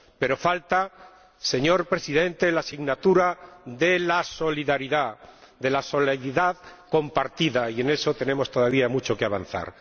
Pero falta, señor Presidente, la asignatura de la solidaridad, de la solidaridad compartida, y en eso tenemos todavía mucho que avanzar.